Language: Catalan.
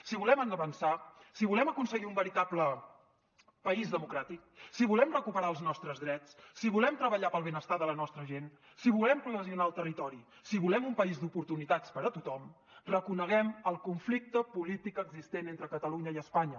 si volem avançar si volem aconseguir un veritable país democràtic si volem recuperar els nostres drets si volem treballar per al benestar de la nostra gent si volem cohesionar el territori si volem un país d’oportunitats per a tothom reconeguem el conflicte polític existent entre catalunya i espanya